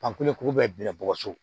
Panpule kuru bɛɛ bugɔ so